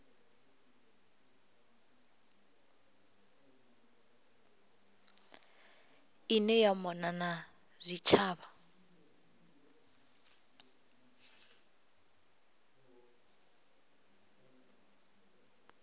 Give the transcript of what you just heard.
ine ya mona na zwitshavha